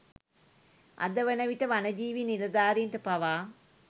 අද වන විට වනජීවී නිලධාරීන්ට පවා